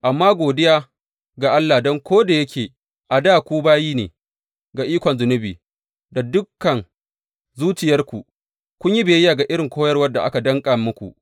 Amma godiya ga Allah don ko da yake a dā ku bayi ne ga ikon zunubi, da dukan zuciyarku kun yi biyayya ga irin koyarwar da aka danƙa muku.